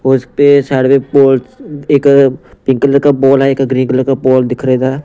और उस पे साइड में बॉल एक पिंक कलर का बॉल है एक ग्रीन कलर का बॉल दिख रहा है इधर --